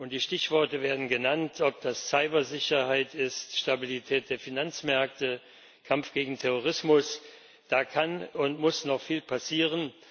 Die Stichworte werden genannt Ob das Cyber Sicherheit ist, Stabilität der Finanzmärkte, Kampf gegen Terrorismus da kann und muss noch viel passieren.